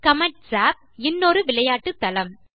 Comet job - இன்னொரு விளையாட்டு தளம்